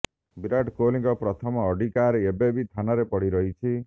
ବିରାଟ କୋହଲିଙ୍କ ପ୍ରଥମ Audi car ଏବେ ବି ଥାନାରେ ପଡି ରହିଛି